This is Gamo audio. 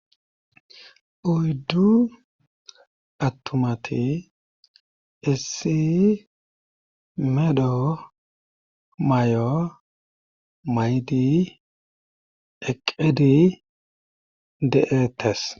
Oyddu attumati issi medho mayo mayidi eqqidi de'etes.